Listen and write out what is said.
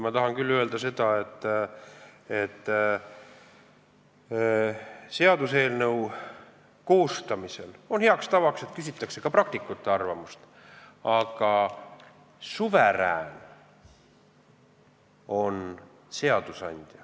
Ma tahan öelda, et seaduseelnõu koostamisel on heaks tavaks, et küsitakse ka praktikute arvamust, aga suverään on seadusandja.